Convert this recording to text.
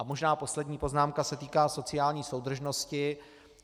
A možná poslední poznámka se týká sociální soudržnosti.